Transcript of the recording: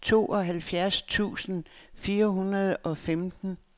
tooghalvfjerds tusind fire hundrede og femten